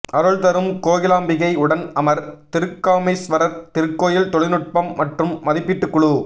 அருள் தரும் கோகிலாம்பிகை உடன் அமர் திருக்காமீஸ்வரர் திருக்கோயில் தொழில்நுட்பம் மற்றும் மதிப்பீட்டுக்குழு